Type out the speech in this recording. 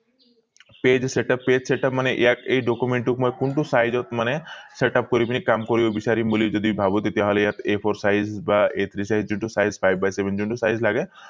page setup page setup মানে ইয়াত এই document টো মই কোনটো side ত মানে setup কৰি পিনি কাম কৰিব বিচাৰিম বুলি যদি ভাবো তেতিয়া হলে ইয়াত a fore size বা যোনটো size পাই যোনটো size লাগে